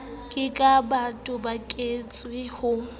ke ke ba toboketswa ho